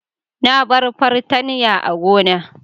Na bar fartanya a gona.